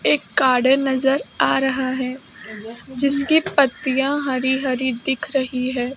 एक गार्डन नजर आ रहा है जिसकी पत्तियां हरी हरी दिख रही है।